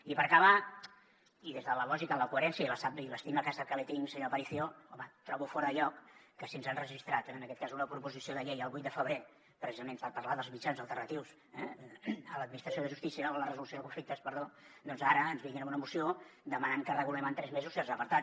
i per acabar i des de la lògica la coherència i l’estima que sap que li tinc senyor aparicio home trobo fora de lloc que si ens han registrat en aquest cas una proposició de llei el vuit de febrer precisament per parlar dels mitjans alternatius a l’administració de justícia o de la resolució de conflictes perdó doncs ara ens vinguin amb una moció demanant que en regulem en tres mesos certs apartats